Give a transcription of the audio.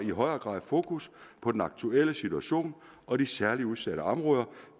i højere grad fokus på den aktuelle situation og de særligt udsatte områder